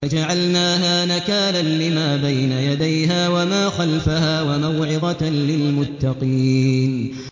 فَجَعَلْنَاهَا نَكَالًا لِّمَا بَيْنَ يَدَيْهَا وَمَا خَلْفَهَا وَمَوْعِظَةً لِّلْمُتَّقِينَ